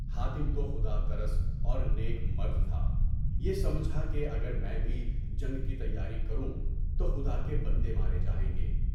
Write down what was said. حاتم تو خدا ترسی اور نیک مرد تھا، یہ سمجھا کہ اگر میں بھی جنگ کی تیاری کروں تو خدا کے بندے مارے جائیں گے۔